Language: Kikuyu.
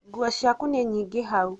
nguo ciaku nĩ nyiĩngĩ hau